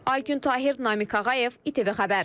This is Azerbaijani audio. Aygün Tahir, Namiq Ağayev, İTV xəbər.